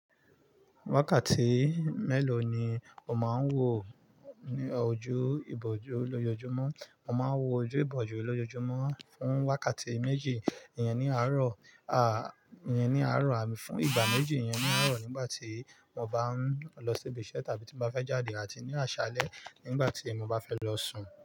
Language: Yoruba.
Wákàtí mélòó ni o máa ń wò ní ojú ìbòjú lójoojúmọ́? Mo máa ń wò ojú ìbòjú lójoojúmọ́ fún wákàtí méjì iyẹn ní àárọ̀, à, iyẹn ní àárọ̀ àmi fún ìgbà méjì yẹn ní àárọ̀ nígbà tí mo bá ń lọ síbi iṣẹ́ tàbí tí mo bá fẹ́ jáde àti ní àṣálẹ́ nígbà tí mo bá fẹ́ lọ sùn.